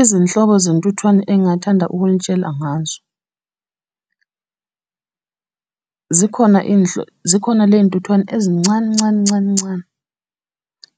Izinhlobo zentuthwane engingathanda ukunitshela ngazo. Zikhona zikhona ley'ntuthwane ezincane ncane ncane ncane.